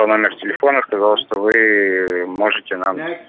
номер телефона сказал что вы можете нам